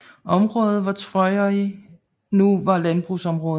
Området hvor Tvøroyri er nu var landbrugsområde